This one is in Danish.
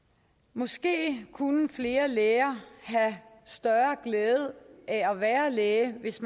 måske kunne flere læger have større glæde af at være læge hvis